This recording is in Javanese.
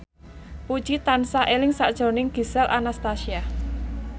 Puji tansah eling sakjroning Gisel Anastasia